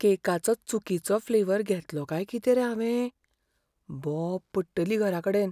केकाचो चुकिचो फ्लेवर घेतलो काय कितें रे हावें? बोब पडटली घराकडेन.